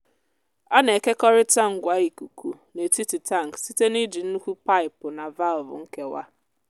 a na-ekekọrịta ngwa ikuku n’etiti tankị site n’iji nnukwu paipu na valvụ nkewa.